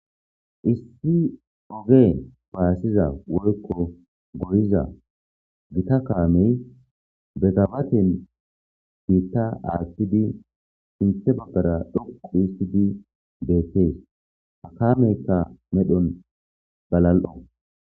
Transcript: Issi oge baassiza woykko goyiza gita kaamey be gabaten biitta aathidi sinthe baggara dhoqu histidi beetees. Ha kameyka medhon galal'o.